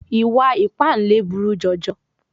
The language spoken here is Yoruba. Ìwà ìpáǹle buru jọjọ.